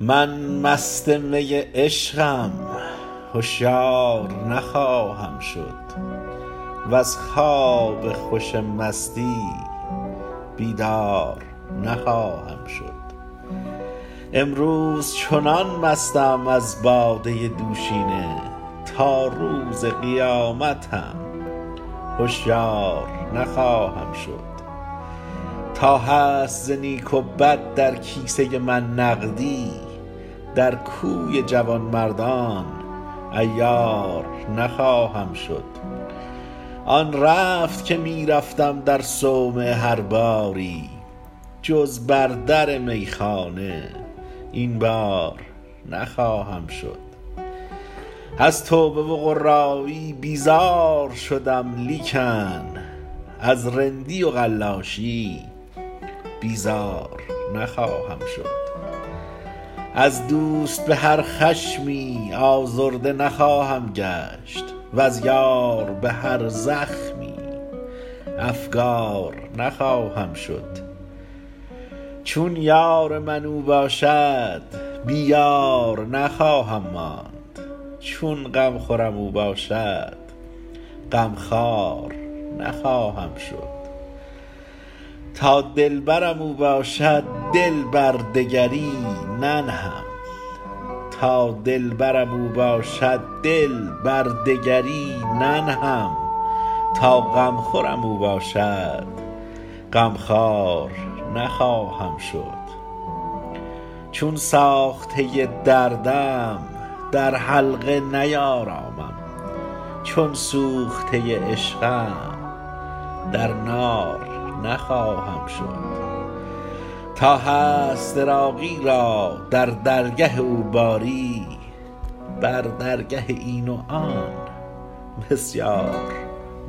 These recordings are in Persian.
من مست می عشقم هشیار نخواهم شد وز خواب خوش مستی بیدار نخواهم شد امروز چنان مستم از باده دوشینه تا روز قیامت هم هشیار نخواهم شد تا هست ز نیک و بد در کیسه من نقدی در کوی جوانمردان عیار نخواهم شد آن رفت که می رفتم در صومعه هر باری جز بر در میخانه این بار نخواهم شد از توبه و قرایی بیزار شدم لیکن از رندی و قلاشی بیزار نخواهم شد از دوست به هر خشمی آزرده نخواهم گشت وز یار به هر زخمی افگار نخواهم شد چون یار من او باشد بی یار نخواهم ماند چون غمخورم او باشد غم خوار نخواهم شد تا دلبرم او باشد دل بر دگری ننهم تا غمخورم او باشد غمخوار نخواهم شد چون ساخته دردم در حلقه نیارامم چون سوخته عشقم در نار نخواهم شد تا هست عراقی را در درگه او باری بر درگه این و آن بسیار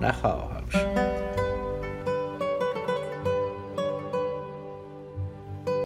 نخواهم شد